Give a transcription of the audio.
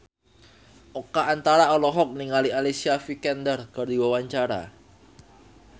Oka Antara olohok ningali Alicia Vikander keur diwawancara